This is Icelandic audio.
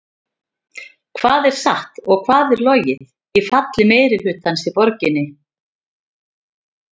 Hvað er satt og hvað er logið í falli meirihlutans í borginni?